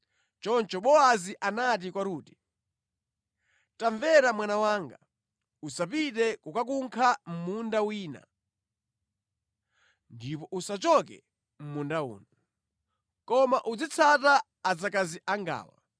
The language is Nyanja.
Choncho Bowazi anati kwa Rute, “Tamvera mwana wanga, usapite kukakunkha mʼmunda wina, ndipo usachoke mʼmunda uno. Koma uzitsata adzakazi angawa.